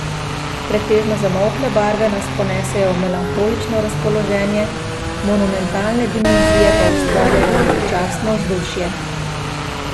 Pretežno zamolkle barve nas ponesejo v melanholično razpoloženje, monumentalne dimenzije pa ustvarjajo veličastno vzdušje.